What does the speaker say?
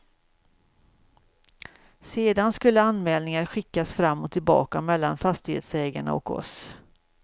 Sedan skulle anmälningar skickas fram och tillbaka mellan fastighetsägarna och oss.